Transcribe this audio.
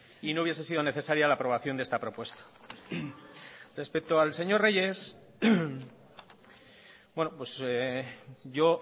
y no hubiese sido necesaria la aprobación de esta propuesta respecto al señor reyes bueno pues yo